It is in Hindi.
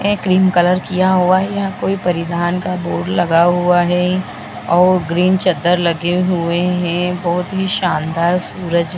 ये क्रीम कलर किया हुआ है यहाँ कोई परिधान का बोर्ड लगा हुआ है और ग्रीन चद्दर लगे हुए हैं बहुत ही शानदार सूरज --